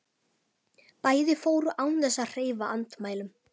Bæði fóru án þess að hreyfa andmælum.